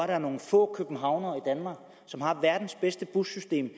der er nogle få københavnere som har verdens bedste bussystem